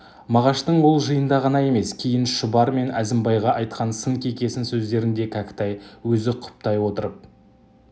мағаштың ол жиында ғана емес кейін шұбар мен әзімбайға айтқан сын кекесін сөздерін де кәкітай өзі құптай отырып